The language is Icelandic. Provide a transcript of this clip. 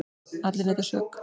Allir neita sök.